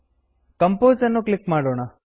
compose ಅನ್ನು click ಮಾಡೋಣ